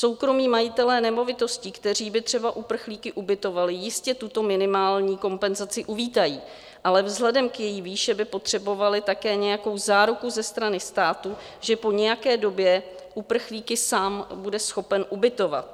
Soukromí majitelé nemovitostí, kteří by třeba uprchlíky ubytovali, jistě tuto minimální kompenzaci uvítají, ale vzhledem k její výši by potřebovali také nějakou záruku ze strany státu, že po nějaké době uprchlíky sám bude schopen ubytovat.